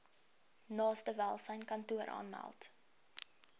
naaste welsynskantoor aanmeld